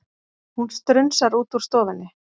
Hún strunsar út úr stofunni.